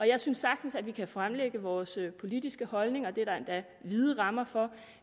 jeg synes sagtens at vi kan fremlægge vores politiske holdninger det er der endda vide rammer for